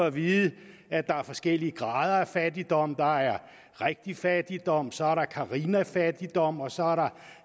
at vide at der er forskellige grader af fattigdom der er rigtig fattigdom så er der carina fattigdom og så